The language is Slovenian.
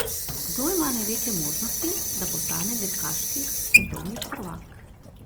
Kdo ima največje možnosti, da postane dirkaški svetovni prvak?